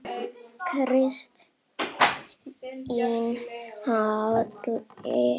Kristín Halla.